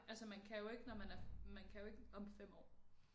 Altså man jo ikke når man er man kan jo ikke om 5 år